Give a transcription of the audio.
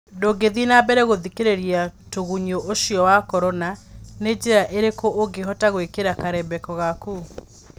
Ndũngĩthiĩ na mbere gũthĩkĩrĩria tũgunyũũcio wa Korona, nĩ njĩra ĩrĩkũũngĩhota gwĩkĩra karembeko gaku?